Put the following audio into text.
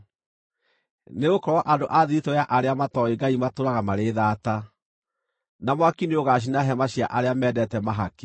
Nĩgũkorwo andũ a thiritũ ya arĩa matooĩ Ngai matũũraga marĩ thaata, na mwaki nĩũgaacina hema cia arĩa mendete mahaki.